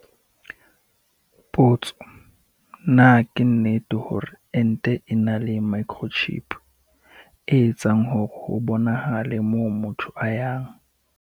Potso- Na ke nnete hore ente e na le microchip, e etsang hore ho bonahale moo motho a yang?